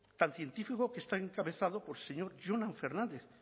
tan científico que está encabezado por el señor jonan fernández